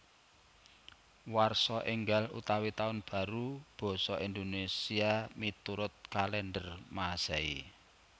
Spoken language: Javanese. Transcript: Warsa Ènggal utawi Tahun Baru basa Indonésia miturut kalèndher Masèhi